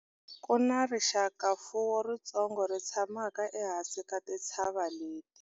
ku na rixakamfuwo ritsongo ri tshamaka ehansi ka tintshava leti